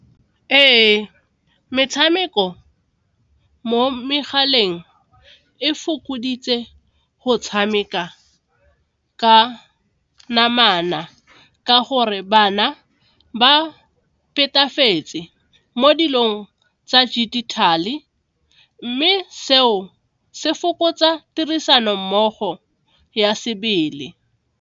Ee, metshameko mo megaleng e fokoditse go tshameka ka namana ka gore bana ba mo dilong tsa digital-e mme seo se fokotsa tirisanommogo ya sebele.